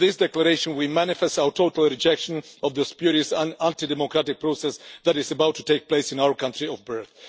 Through this declaration we manifest our total rejection of the spurious and anti democratic process that is about to take place in our country of birth.